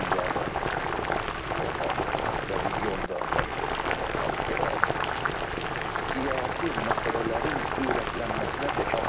Dünyada gedən son hadisələr və regionda baş vermiş son hadisələr siyasi məsələlərin sürətlənməsinə təkan verir.